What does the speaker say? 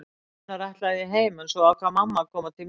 Raunar ætlaði ég heim en svo ákvað mamma að koma til mín.